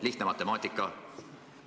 Lihtne matemaatika.